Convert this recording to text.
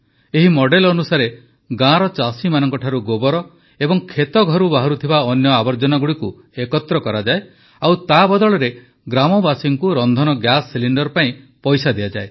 ଏହି ମଡେଲ୍ ଅନୁସାରେ ଗାଁର ଚାଷୀମାନଙ୍କଠାରୁ ଗୋବର ଏବଂ କ୍ଷେତଘରୁ ବାହାରୁଥିବା ଅନ୍ୟ ଆବର୍ଜନାଗୁଡ଼ିକୁ ଏକତ୍ର କରାଯାଏ ଓ ତା ବଦଳରେ ଗ୍ରାମବାସୀଙ୍କୁ ରନ୍ଧନ ଗ୍ୟାସ ସିଲିଣ୍ଡର ପାଇଁ ପଇସା ଦିଆଯାଏ